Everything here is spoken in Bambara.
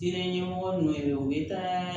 Diinɛ ɲɛmɔgɔ nu yɛrɛ u bɛ taa